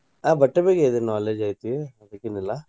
ಆಹ್ ಬಟ್ಟೆ ಬಗ್ಗೆ ಇದೆ knowledge ಐತಿ ಅದ್ಕೆನಿಲ್ಲಾ.